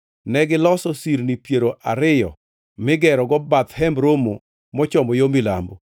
Negiloso sirni piero ariyo migerogo bath Hemb Romo mochomo yo milambo,